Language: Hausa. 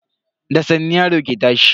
Da sannu yaro ke tashi.